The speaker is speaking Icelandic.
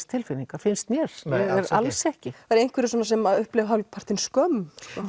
tilfinningar finnst mér nei alls ekki það eru einhverjir sem upplifa svona hálf partinn skömm